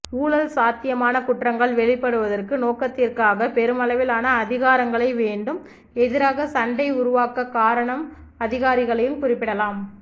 ஊழல் சாத்தியமான குற்றங்கள் வெளிப்படுவதற்கு நோக்கத்திற்காக பெருமளவிலான அதிகாரங்களை வேண்டும் எதிராக சண்டை உருவாகக் காரணம் அதிகாரிகளையும் குறிப்பிடலாம்